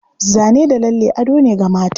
Zane da lalle ado ne ga mata.